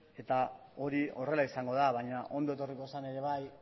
eta hori horrela izango da baina ondo etorriko zen ere bai